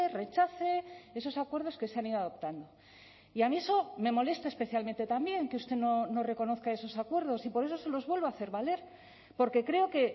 rechace esos acuerdos que se han ido adoptando y a mí eso me molesta especialmente también que usted no reconozca esos acuerdos y por eso se los vuelvo a hacer valer porque creo que